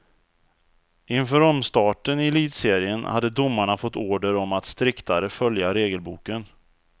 Inför omstarten i elitserien hade domarna fått order om att striktare följa regelboken.